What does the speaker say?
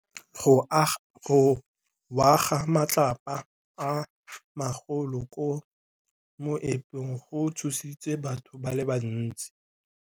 Go wa ga matlapa a magolo ko moepong go tshositse batho ba le bantsi.